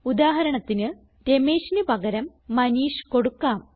ഉദാഹരണത്തിന് Rameshന് പകരം മനീഷ് കൊടുക്കാം